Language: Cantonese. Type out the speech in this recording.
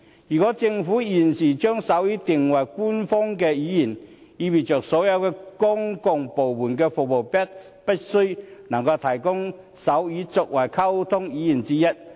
如果政府現時將手語定為官方語言，即意味所有公共部門的服務必須能夠提供手語作為溝通語言之一。